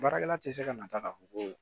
Baarakɛla tɛ se ka na taa k'a fɔ ko